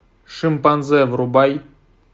шимпанзе врубай